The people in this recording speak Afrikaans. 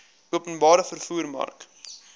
openbare vervoer mark